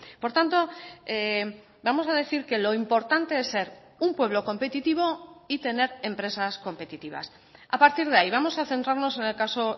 por tanto vamos a decir que lo importante es ser un pueblo competitivo y tener empresas competitivas a partir de ahí vamos a centrarnos en el caso